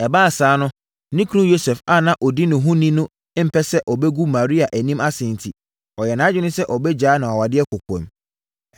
Ɛbaa saa no, ne kunu Yosef a ɔdi ne ho ni no ampɛ sɛ ɔbɛgu Maria anim ase enti, ɔyɛɛ nʼadwene sɛ ɔbɛgyaa no awadeɛ kɔkoam.